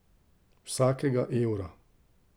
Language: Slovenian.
Vsakega evra.